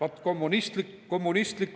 Aeg!